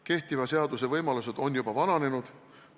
Kehtiva seaduse võimalused on juba vananenud.